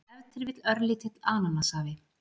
ef til vill örlítill ananassafi